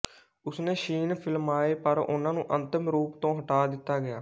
ਉਸਨੇ ਸੀਨ ਫ਼ਿਲਮਾਏ ਪਰ ਉਨ੍ਹਾਂ ਨੂੰ ਅੰਤਮ ਰੂਪ ਤੋਂ ਹਟਾ ਦਿੱਤਾ ਗਿਆ